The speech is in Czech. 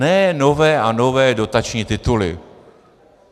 Ne nové a nové dotační tituly.